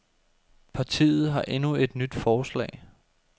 Partiet har endnu et nyt forslag.